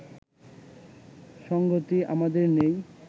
সঙ্গতি আমাদের নেই